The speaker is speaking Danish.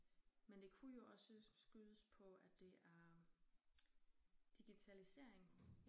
Men det kunne jo også skydes på at det er digitaliseringen